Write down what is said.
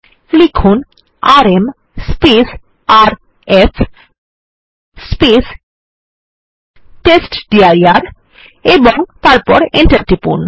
লিখুন RM RF test dir এবং তারপর Enter টিপুন